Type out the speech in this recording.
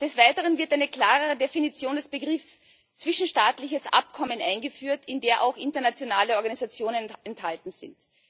Des Weiteren wird eine klarere Definition des Begriffs zwischenstaatliches Abkommen eingeführt, in der auch internationale Organisationen enthalten sind.